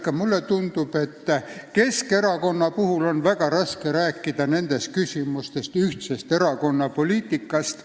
Ka mulle tundub, et Keskerakonna puhul on väga raske rääkida nendes küsimustes erakonna ühtsest poliitikast.